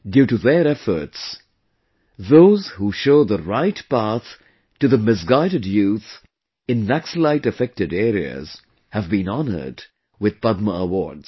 Due to their efforts, those who show the right path to the misguided youth in Naxalite affected areas have been honoured with Padma awards